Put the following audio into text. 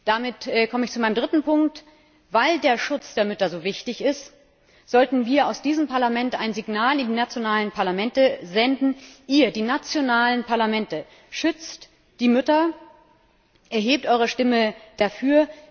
Damit komme ich zu meinem dritten Punkt Weil der Schutz der Mütter so wichtig ist, sollten wir aus diesem Parlament ein Signal in die nationalen Parlamente senden Ihr, die nationalen Parlamente, schützt die Mütter, erhebt eure Stimme dafür!